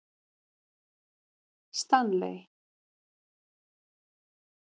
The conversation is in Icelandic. Stanley